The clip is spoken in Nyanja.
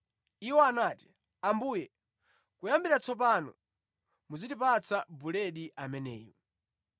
Iwo anati, “Ambuye, kuyambira tsopano muzitipatsa buledi ameneyu.”